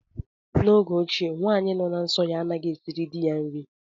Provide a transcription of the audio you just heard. N'oge ochie, nwaanyị nọ na nsọ ya anaghị esiri dị ya nri.